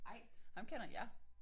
Ej ham kender jeg